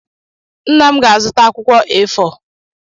Nna m ga-azụta akwụkwọ A4.